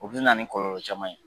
O bɛ na nin kɔlɔlɔ caman ye.